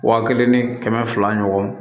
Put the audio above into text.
Wa kelen ni kɛmɛ fila ɲɔgɔn